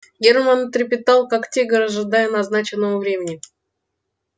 германн трепетал как тигр ожидая назначенного времени